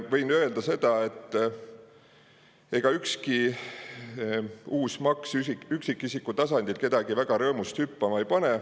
Võin öelda seda, et ega ükski uus maks üksikisiku tasandil kedagi väga rõõmust hüppama ei pane.